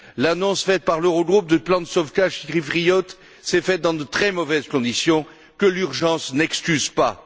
L'annonce par l'Eurogroupe du plan de sauvetage chypriote s'est faite dans de très mauvaises conditions, que l'urgence n'excuse pas.